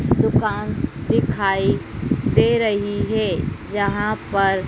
दुकान दिखाई दे रही है जहां पर--